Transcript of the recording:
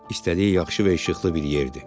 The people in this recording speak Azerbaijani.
İstədiyi yaxşı və işıqlı bir yerdir.